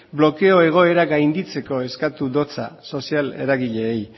blokeo egoera gainditzeko eskatu dio sozial eragileei